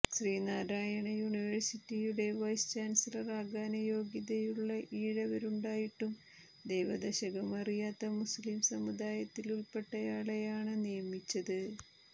ശ്രീനാരായണ യൂണിവേഴ്സിറ്റിയുടെ വൈസ് ചാന്സിലറാകാന് യോഗ്യതയുള്ള ഈഴവരുണ്ടായിട്ടും ദൈവദശകം അറിയാത്ത മുസ്ലിം സമുദായത്തില്പ്പെട്ടയാളെയാണ് നിയമിച്ചത്